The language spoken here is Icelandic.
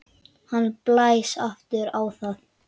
Hann blæs aftur á það.